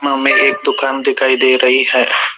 हमें एक दुकान दिखाई दे रही है।